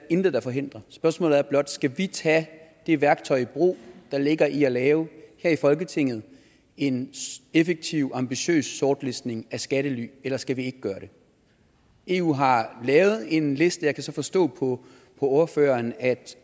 intet der forhindrer spørgsmålet er blot skal vi tage det værktøj i brug der ligger i at lave her i folketinget en effektiv ambitiøs sortlistning af skattely eller skal vi ikke gøre det eu har lavet en liste jeg kan så forstå på ordføreren